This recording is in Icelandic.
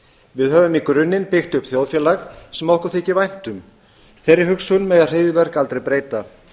við höfum í grunninn byggt upp þjóðfélag sem okkur þykir vænt um þeirri hugsun mega hryðjuverk aldrei breyta